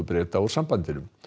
Breta úr sambandinu